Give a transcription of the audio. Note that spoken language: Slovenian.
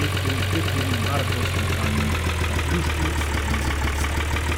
petkovim peturnim maratonskim branjem na Društvu slovenskih pisateljev.